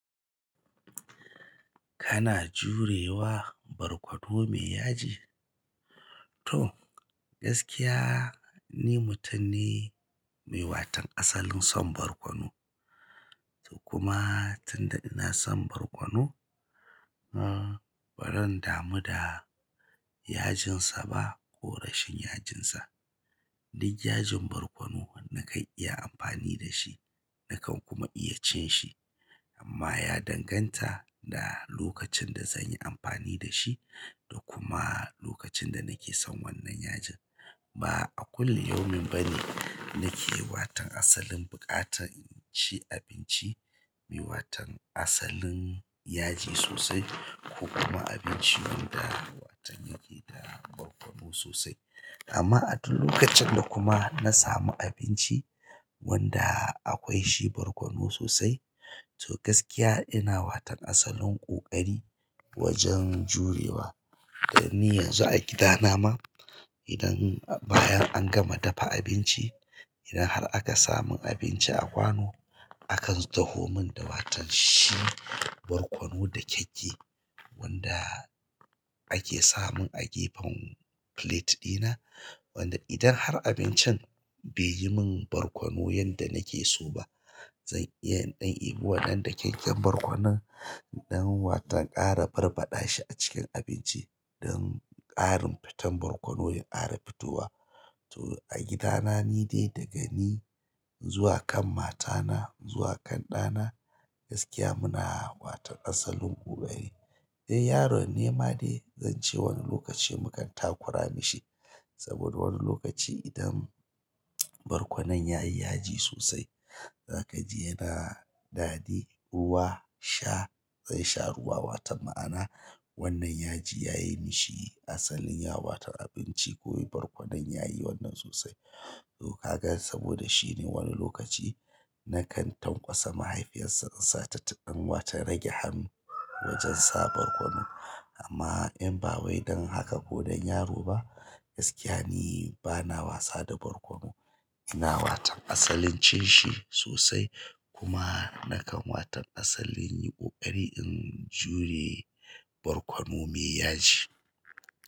Kana jurewa barkono mai yaji? To gaskiya ni mutum ne mai watan asalin son barkono. To kuma tunda ina son barkono, uh, ba zan damu da yajinsa ba ko rashin yajinsa. Duk yajin barkono na kan iya amfani da shi, na kan kuma iya cin shi. Amma ya danganta da lokacin da zan yi amfani da shi da kuma lokacin da nake son wannan yajin. Ba a kullum yaumin bane nake waton asalin buƙatan cin abinci mai waton asalin yaji sosai ko kuma abinci wanda waton yake da barkono sosai. Amma a duk lokacin da kuma na samu abinci wanda akwai shi barkono sosai, to gaskiya ina watan asalin ƙoƙari wajen jurewa. Dan ni yanzu a gida na ma idan bayan an gama dafa abinci, idan har aka samun abinci a kwano aka taho mun da waton shi barkono dakakke wanda ake samun a gefen plate ɗina. Wanda idan har abincin bai yi min barkono yanda nake so ba, zan iya in ɗan ɗibo wannan dakakke borkonon don waton ƙara barbaɗa shi a cikin abinci don ƙarin fitan barkono ya ƙara fitowa. To a gida na ni dai daga ni zuwa kan mata na, zuwa kan ɗa na gaskiya muna waton asalin ƙoƙari. Eh, yaron ne ma dai zan ce wani lokaci mukan takura mashi. Saboda wani lokaci idan barkonon ya yi yaji sosai, za ka ji yana daddy ruwa sha. Zai sha ruwa watan ma'ana wannan yaji ya yi mishi asalin ya watan abinci ko barkonon ya yi wannan sosai. To kaga saboda shine wani lokaci na kan tanƙwasa mahaifiyar sa in sa ta ɗan wata rage hannu wajen sa barkono. Amma in ba wai don haka ko don yaro ba, gaskiya ni bana wasa da barkono. Ina watan asalin cin shi sosai kuma na kan watan asalin yin ƙoƙari in jure barkono mai yaji.